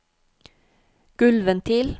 gulvventil